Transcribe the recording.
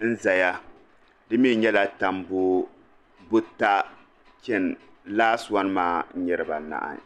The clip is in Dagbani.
n zaya dimi nyɛla tambu buta chen laasi wan maa n nyɛ dibaa anahi.